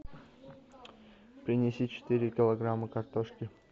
принеси четыре килограмма картошки